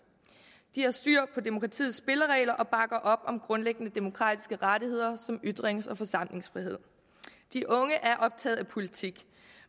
de har styr på demokratiets spilleregler og bakker op om grundlæggende demokratiske rettigheder som ytrings og forsamlingsfrihed de unge er optaget af politik